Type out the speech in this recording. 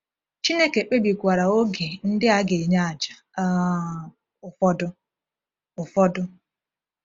Chineke kpebikwara oge ndị a ga-enye àjà um ụfọdụ. ụfọdụ.